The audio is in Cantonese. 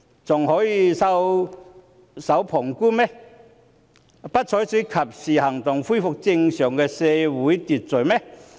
還可以袖手旁觀，不採取及時行動，恢復正常的社會秩序嗎？